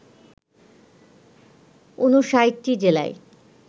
৫৯টি জেলায়